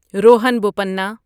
Rohan Bopanna